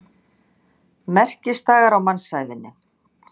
Merkisdagar á mannsævinni.